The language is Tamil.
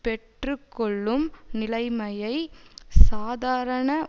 பெற்று கொள்ளும் நிலைமையை சாதாரண